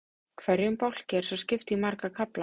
Hverjum bálki er svo skipt í marga kafla.